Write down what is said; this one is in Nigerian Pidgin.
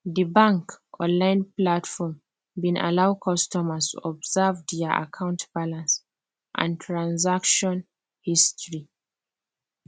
the bank online platform bin allow customer observe their account balance and transaction history